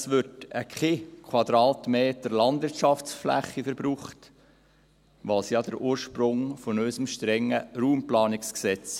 Es wird kein Quadratmeter Landwirtschaftsfläche verbraucht, was ja der Ursprung von unserem strengen RPG ist.